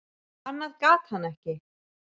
Annað gat hann ekki.